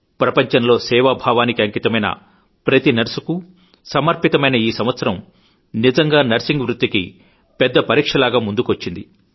ప్రపంచంలో సేవాభావానికి అంకితమైన ప్రతీ నర్సుకూ సమర్పితమైన ఈసంవత్సరం నిజంగా నర్సింగ్ వృత్తికి పెద్ద పరీక్షలాగా ఎదురు నిల్చింది